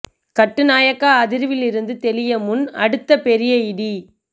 கட்டு நாயக்கா அதிர்வில் இருந்து தெளிய முன் அடுத்த பெரிய இடி